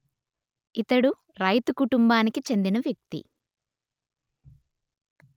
ఇతడు రైతు కుటుంబానికి చెందిన వ్యక్తి